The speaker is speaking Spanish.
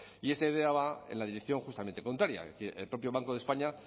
y esta idea va en la dirección justamente contraria es decir el propio banco de españa